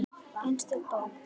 Einstök bók.